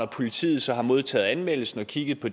politiet så har modtaget anmeldelsen og kigget på